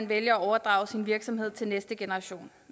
vælge at overdrage sin virksomhed til næste generation